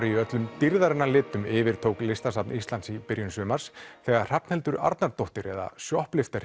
í öllum dýrðarinnar litum yfirtók Listasafns Íslands í byrjun sumars þegar Hrafnhildur Arnardóttir eða